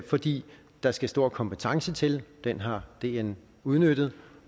fordi der skal stor kompetence til den har dn udnyttet